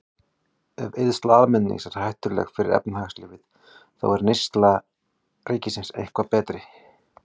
Ef eyðsla almennings er hættuleg fyrir efnahagslífið, er þá eyðsla ríkisins eitthvað betri?